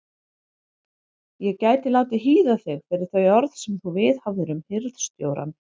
Ég gæti látið hýða þig fyrir þau orð sem þú viðhafðir um hirðstjórann.